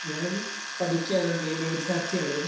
ഞാൻ പഠിക്കുകയാണ് നിയമ വിദ്യാർത്ഥിയാണ്